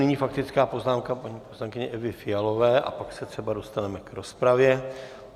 Nyní faktická poznámka paní poslankyně Evy Fialové a pak se třeba dostaneme k rozpravě.